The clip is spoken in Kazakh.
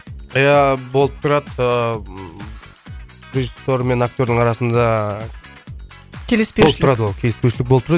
иә болып тұрады ыыы режиссер мен актердың арасында келіспеушілік болып тұрады ол келіспеушілік болып тұрады